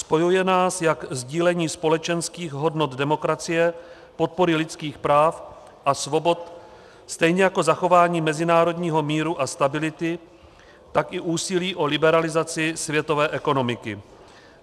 Spojuje nás jak sdílení společenských hodnot demokracie, podpory lidských práv a svobod, stejně jako zachování mezinárodního míru a stability, tak i úsilí o liberalizaci světové ekonomiky.